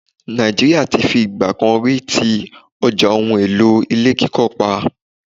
Nàìjíríà ti fi ìgbà kan rí ti ọjà ohun-èlò ilé kíkọ́ pa.